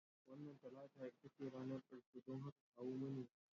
Wannan Talata ita ce ranar ƙarshe, don haka kawo mani yanzu